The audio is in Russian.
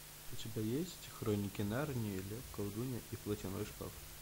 у тебя есть хроники нарнии лев колдунья и платяной шкаф